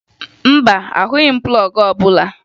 Mba, ahụghị m plọọgụ ọbụla